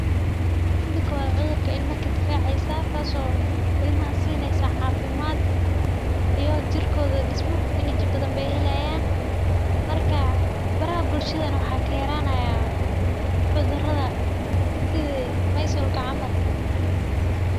Midi kowada cudurka ilama kadifaceysa taas o ilmaha sineysa cafimaid iyo jirkod dismo enagi badan bay helayan karka baraha bulshada nah mxa kayaranaya cudurada sithi mysolka camal.